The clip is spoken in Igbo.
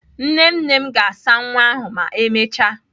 Nne nne m ga-asa nwa ahụ ma emechaa.